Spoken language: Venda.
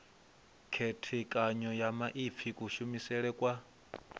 khethekanyo ya maipfi kushumisele kwa